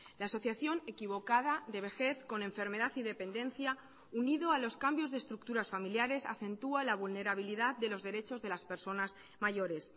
la asociación equivocada de vejez con enfermedad y dependencia unido a los cambios de estructuras familiares acentuá la vulnerabilidad de los derechos de las personas mayores